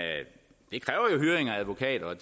advokater og